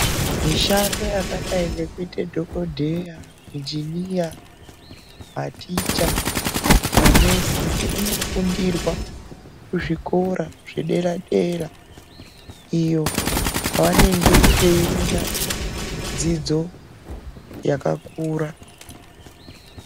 Mishando yakadai yekuita dhokoteya, injiniya ,maticha ,manesi inofundirwa kuzvikora zvedera dera iyo kwavanenge veiona dzidzo yakakura.